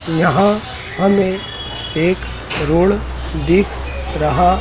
यहां हमें एक रोड दिख रहा--